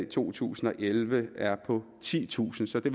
to tusind og elleve er på titusind så det